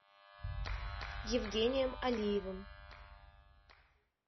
евгением алиевым